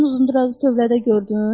Sən uzunrazı tövlədə gördün?